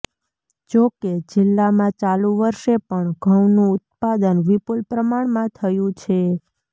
જોકે જિલ્લામાં ચાલુ વર્ષે પણ ઘઉનું ઉત્પાદન વિપુલ પ્રમાણમાં થયુ છે